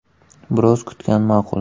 Biroz kutgan ma’qul.